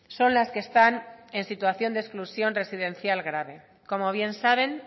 son las que están en situación de exclusión residencial grave como bien saben